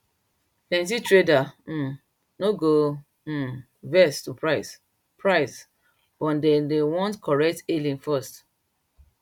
plenty traders um no go um vex to price price but dem dey want correct hailing first